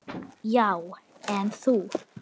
Já, en þú.